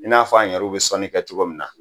I n'a fɔ an yɛrɛw bɛ sɔnni kɛ cogo min na